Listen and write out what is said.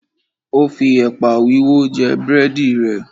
O fi ẹ̀pà wíwó jẹ búrẹ́dì rẹ̀.